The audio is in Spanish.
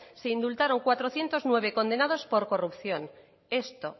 se indultaron cuatrocientos nueve condenados por corrupción esto